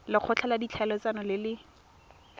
lekgotla la ditlhaeletsano le le